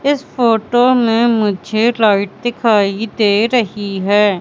इस फोटो में मुझे लाइट दिखाई दे रही है।